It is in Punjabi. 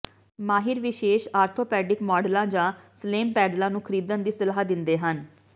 ਮਾਹਿਰ ਵਿਸ਼ੇਸ਼ ਆਰਥੋਪੈਡਿਕ ਮਾਡਲਾਂ ਜਾਂ ਸਲੇਮ ਪੈਡਲਾਂ ਨੂੰ ਖਰੀਦਣ ਦੀ ਸਲਾਹ ਦਿੰਦੇ ਹਨ